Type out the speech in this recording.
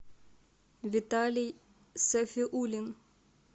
виталий сафиулин